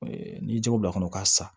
N'i ye jɛgɛ don a kɔnɔ ka sa